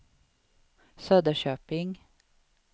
Söderköping